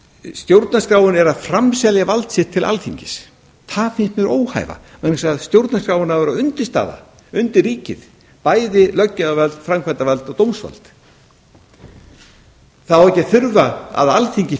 stjórnarskráin er að framselja vald sitt til alþingis það finnst mér óhæfa vegna þess að stjórnarskráin á að vera undirstaða undir ríkið bæði löggjafarvald framkvæmdarvald og dómsvald það á ekki að þurfa að alþingi